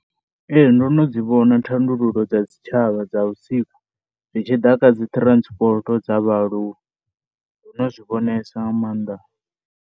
Ee ndo no dzi vhona thandululo dza dzi tshavha dza vhusiku, zwi tshi ḓa kha dzi transport dza vhaaluwa ndo no zwi vhonesa nga maanda.